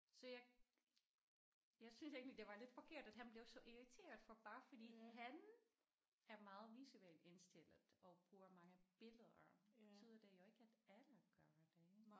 Så jeg jeg synes egentlig det var lidt forkert at han blev så irriteret for bare fordi han er meget visuelt indstillet og bruger mange billeder betyder det jo ikke at alle gør det